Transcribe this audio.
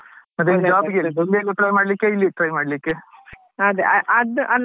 ಮತ್ತೆ ಮಾಡ್ಲಿಕ್ಕೆ ಇಲ್ಲಿ try ಮಾಡ್ಲಿಕ್ಕೆ?